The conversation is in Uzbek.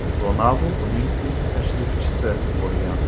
Ronaldu uning ilk tashrifchisi bo‘lgan.